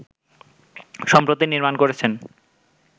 সম্প্রতি নির্মাণ করেছেন